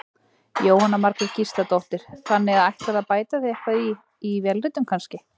Jóhanna Margrét Gísladóttir: Þannig að ætlarðu að bæta þig eitthvað í, í vélritun kannski?